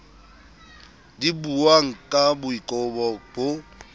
di buwang ka boikobo bo